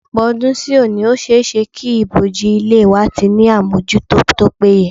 Ọ̀pọ̀ ọdún sí òní, ó ṣe é ṣé kí ìbòji ilẹ̀ wa ti ní àmójútó tó péye